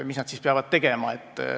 Mis nad siis peavad tegema?